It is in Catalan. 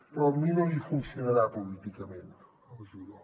però amb mi no li funcionarà políticament el judo